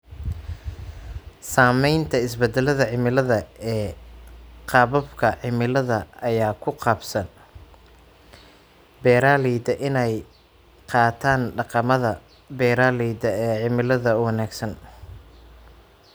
Saamaynta isbeddelka cimilada ee qaababka cimilada ayaa ku qasbaya beeralayda inay qaataan dhaqamada beeralayda ee cimilada u wanaagsan.